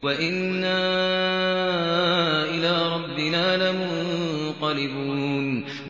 وَإِنَّا إِلَىٰ رَبِّنَا لَمُنقَلِبُونَ